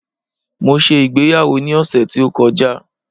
mo se ìgbéyàwó ni ọsẹ ti o kọjá